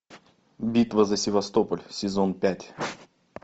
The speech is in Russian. битва за севастополь сезон пять